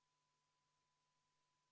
26. muudatusettepaneku on esitanud EKRE fraktsioon.